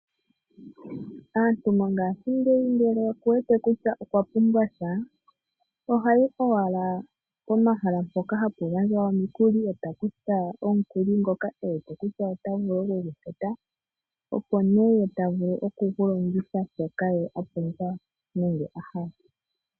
Aantu mongashingeyi ngele okuwete kutya okwa pumbwa sha , ohayi owala pomahala mpoka hapu gandjwa omikuli eta kutha omukuli ngoka ewete kutya otavulu okugufuta . Oha vulu okulongitha mwaashoka apumbwa nenge ahala.